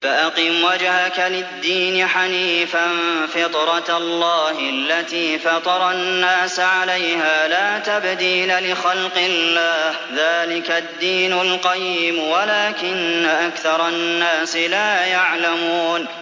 فَأَقِمْ وَجْهَكَ لِلدِّينِ حَنِيفًا ۚ فِطْرَتَ اللَّهِ الَّتِي فَطَرَ النَّاسَ عَلَيْهَا ۚ لَا تَبْدِيلَ لِخَلْقِ اللَّهِ ۚ ذَٰلِكَ الدِّينُ الْقَيِّمُ وَلَٰكِنَّ أَكْثَرَ النَّاسِ لَا يَعْلَمُونَ